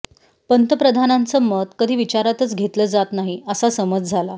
पंतप्रधानांचं मत कधी विचारातच घेतलं जात नाही असा समज झाला